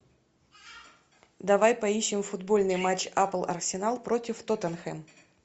давай поищем футбольный матч апл арсенал против тоттенхэм